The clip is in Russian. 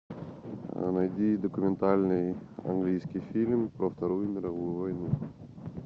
найди документальный английский фильм про вторую мировую войну